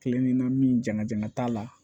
Kelen ni na min jama jama t'a la